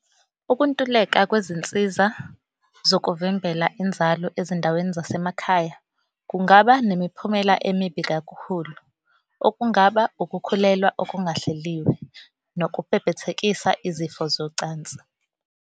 Ukuntuleka kwezinsiza zokuvimbela inzalo ezindaweni zasemakhaya kungaba nemiphumela emibi kakhulu, okungaba ukukhulelwa okungahleliwe nokubhebhethekisa izifo zocansi.